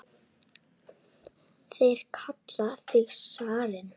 Þeir kalla þig zarinn!